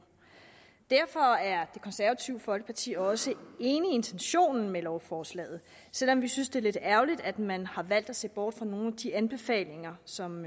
derfor er det konservative folkeparti også enig i intentionen med lovforslaget selv om vi synes at det er lidt ærgerligt at man har valgt at se bort fra nogle af de anbefalinger som